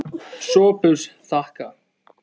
SOPHUS: Þakka.